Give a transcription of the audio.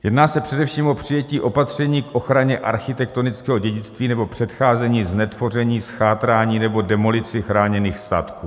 Jedná se především o přijetí opatření k ochraně architektonického dědictví nebo předcházení znetvoření, zchátrání nebo demolici chráněných statků.